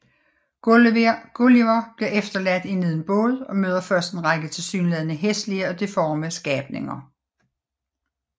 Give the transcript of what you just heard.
Gulliver bliver efterladt i en lille båd og møder først en række tilsyneladende hæslige og deforme skabninger